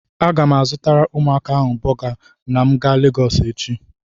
Aga m azụtara ụmụaka ahụ bọga na m ga Legọsụ echi.